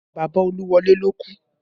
Bàbá Oluwole ló kú